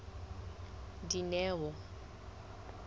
dineo